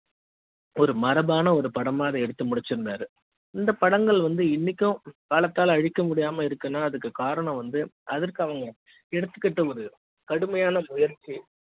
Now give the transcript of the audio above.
ஒரு மரபான ஒரு படமாக எடுத்து முடிச்சு இருந்தார் இந்த படங்கள் வந்து இன்னைக்கும் காலத்தால் அழிக்க முடியாமா இருக்குனா அதுக்கு காரணம் வந்து அதுக்கு அவங்க எடுத்துக்கிட்ட ஒரு கடுமையான முயற்சி